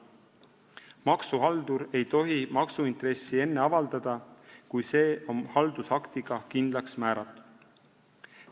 Maksuhaldur ei tohi maksuintressi enne avaldada, kui see on haldusaktiga kindlaks määratud.